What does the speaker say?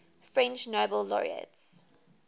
french nobel laureates